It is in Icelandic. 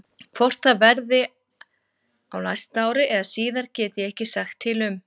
Hvort það verði á næsta ári eða síðar get ég ekki sagt til um.